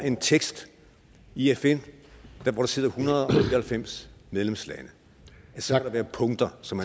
en tekst i fn hvor der sidder en hundrede og halvfems medlemslande så er punkter som